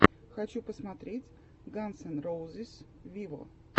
хочу посмотреть ганз эн роузиз виво